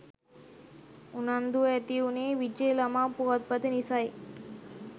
උනන්දුව ඇති උනේ විජය ළමා පුවත්පත නිසයි